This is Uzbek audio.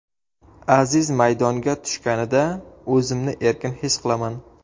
Aziz maydonga tushganida, o‘zimni erkin his qilaman.